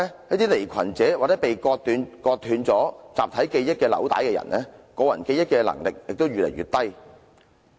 一些離群者或被割斷集體記憶紐帶的人的個人記憶能力就會較低。